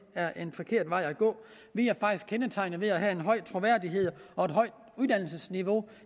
er en forkert vej at gå vi er faktisk kendetegnet ved at have en høj troværdighed og et højt uddannelsesniveau